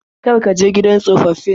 Kar ka je gidan tsofaffin.